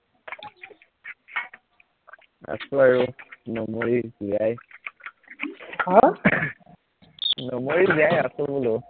আছো আৰু নমৰি জীয়াই হম নমৰি জীয়াই আছো বোলো